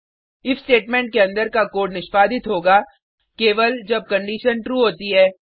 if statement के अंदर का कोड निष्पादित होगा केवल जब कंडिशन ट्रू होती है